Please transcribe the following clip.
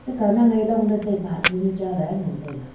akaw nang ye long date taipe hah chonu cha ley ngantaiga.